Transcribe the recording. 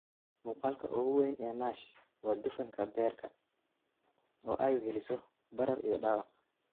Muuqaalka ugu weyn ee NASH waa dufanka beerka, oo ay weheliso barar iyo dhaawac.